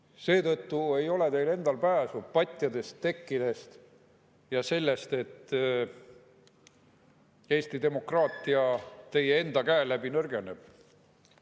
Seetõttu ei ole teil pääsu patjadest, tekkidest ja sellest, et Eesti demokraatia teie enda käe läbi nõrgeneb.